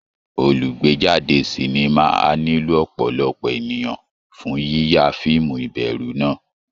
Olùgbéjáde sinimá á nílò ọ̀pọ̀lọpọ̀ ènìyàn fún yíya fíìmù ìbẹ̀rù náà